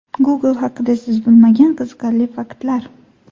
Google haqida siz bilmagan qiziqarli faktlar.